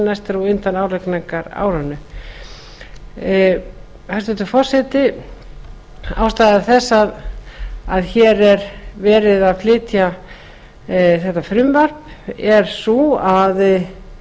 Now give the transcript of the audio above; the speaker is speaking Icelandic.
næst er á undan álagningarárinu hæstvirtur forseti ástæða þess að hér er verið að flytja þetta frumvarp er sú